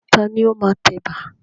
Ta ni ó máa tẹ ẹ̀bà?